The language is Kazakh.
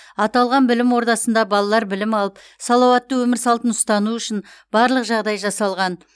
аталған білім ордасында балалар білім алып салауатты өмір салтын ұстану үшін барлық жағдай жасалған